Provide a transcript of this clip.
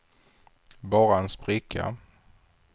bara en spricka